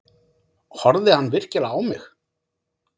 Horfði hann virkilega á mig?